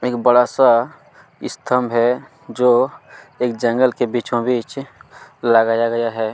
एक बड़ा -सा स्तंभ है जो एक जंगल के बीचो-बीच लगाया गया हैं।